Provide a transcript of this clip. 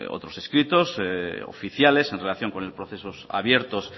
otros escritos oficiales en relación con procesos abiertos